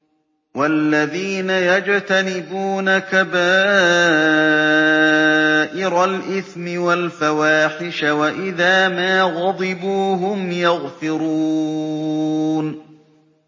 وَالَّذِينَ يَجْتَنِبُونَ كَبَائِرَ الْإِثْمِ وَالْفَوَاحِشَ وَإِذَا مَا غَضِبُوا هُمْ يَغْفِرُونَ